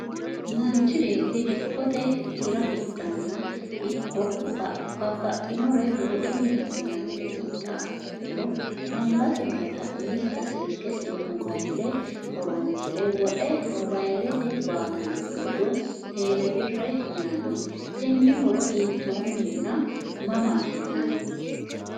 Manchi beeti dikkote hira hidhenna ikko babbaxinore woxunni hidhinannire hidhiha ikkiro angas noota umisita silkesi woy mobayile horonsire woxe mobayilete baatanno hayyo telebirre yinanni. tenne horo hiittonni nna mama afi'nanni?